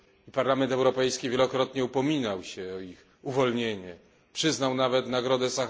Parlament Europejski wielokrotnie upominał się o ich uwolnienie, przyznał nawet nagrodę im.